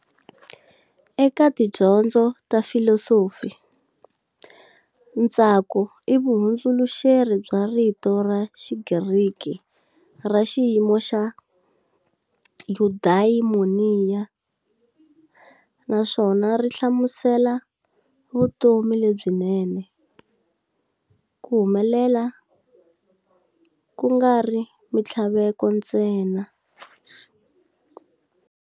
Eka tidyondzo ta filosofi, ntsako i vuhundzuluxeri bya rito ra xigriki ra xiyimo xa "eudaimonia", naswona ri hlamusela vutomi lebyinene, ku humelela, kungari minthlaveko ntsena.